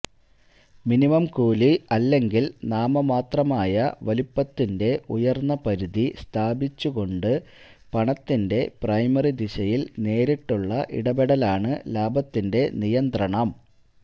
minimum കൂലി അല്ലെങ്കിൽ നാമമാത്രമായ വലുപ്പത്തിന്റെ ഉയർന്ന പരിധി സ്ഥാപിച്ചുകൊണ്ട് പണത്തിന്റെ പ്രൈമറി ദിശയിൽ നേരിട്ടുള്ള ഇടപെടലാണ് ലാഭത്തിന്റെ നിയന്ത്രണം